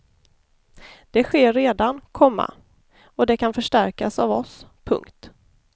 Det sker redan, komma och det kan förstärkas av oss. punkt